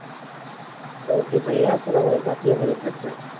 ok ভাইয়া আসসালামুয়ালাইকুম। আপনি ও ভালো থাকবেন।